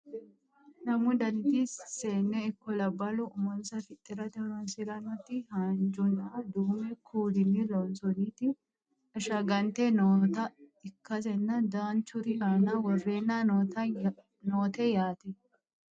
lamu daniti seenne ikko labballu umonsa fixxirate horonsirannoti haanjunna duumu kuulini loonsooniti ashshagante noota ikkasenna danchuri aana worreenna noote yaate